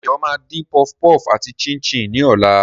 Dayo máa dín puff puff àti chin-chin ní ọ̀la.